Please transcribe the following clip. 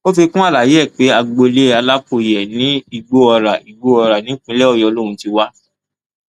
ó fi kún àlàyé ẹ pé agboolé alákòye ní igbóọrá igbóọrá nípínlẹ ọyọ lòún ti wá